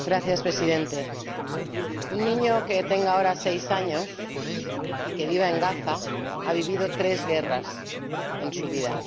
Señor Presidente, un niño que tenga ahora seis años y que viva en Gaza ha vivido tres guerras en su vida.